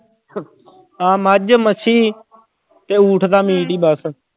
ਆਹ ਮੱਝ, ਮੱਛੀ ਤੇ ਊਠ ਦਾ meat ਹੀ ਬਸ।